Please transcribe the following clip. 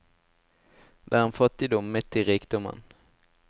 Det er en fattigdom midt i rikdommen.